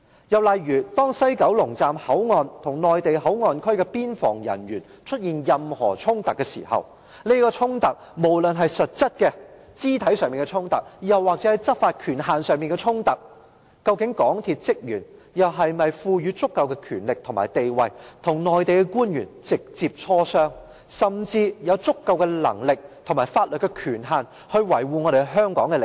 又例如，當西九龍站的工作人員與內地口岸區的邊防人員出現任何衝突時，無論是實質肢體上的衝突或是執法權限上的衝突，究竟港鐵公司職員是否被賦予足夠的權力及地位，與內地官員直接磋商，甚至有足夠能力及法律權限去維護香港的利益？